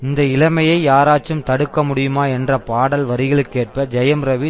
இந்த இளமையை யாராச்சும் தடுக்கமுடியுமா என்ற பாடல் வரிகளுக்கேற்ப ஜெயம் ரவி